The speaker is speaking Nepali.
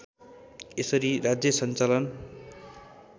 यसरी राज्य सञ्चालन